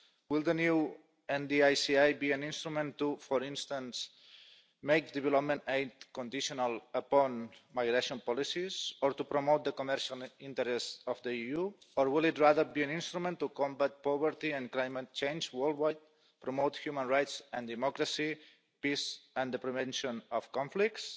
will the new NDICI be an instrument to, for instance, make development aid conditional upon migration policies or to promote the commercial interests of the EU, or will it rather be an instrument to combat poverty and climate change worldwide and promote human rights and democracy, peace and the prevention of conflicts?